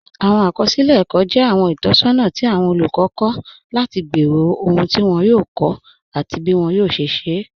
Awọn akọsilẹ ẹkọ jẹ awọn itọsọna ti awọn olukọ kọ lati gbẹ́rọ̀ ọhun ti wọn yòò kọ́, ati bí wọn yòò ṣẹ̀ ṣẹ̀.